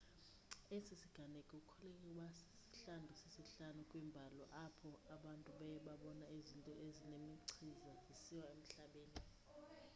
esi siganeko kukholeleka ukuba sisihlandlo sesihlanu kwimbali apho abantu beye babona izinto ezinemichiza zisiwa emhlabeni